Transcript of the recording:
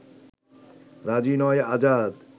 রাজি নয় আজাদ